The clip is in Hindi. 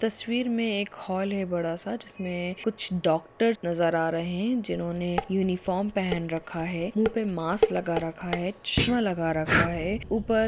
तस्वीर में एक हॉल है बड़ा सा जिसमे कुछ डॉक्टर्स नजर आ रहे है जिन्होंने यूनिफार्म पहन रखा है मुह पे मास्क लगा रखा है चश्मा लगा रखा है ऊपर--